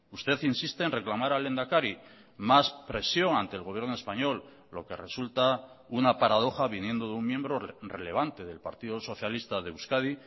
usted insiste en reclamar al lehendakari más presión ante el gobierno español lo que resulta una paradoja viniendo de un miembro relevante del partido socialista de euskadi